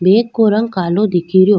Bag को रंग कालो दिखेरो।